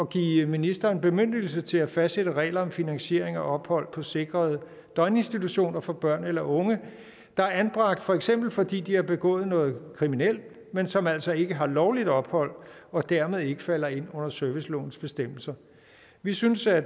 give ministeren bemyndigelse til at fastsætte regler om finansiering og ophold på sikrede døgninstitutioner for børn eller unge der er anbragt for eksempel fordi de har begået noget kriminelt men som altså ikke har lovligt ophold og dermed ikke falder ind under servicelovens bestemmelser vi synes at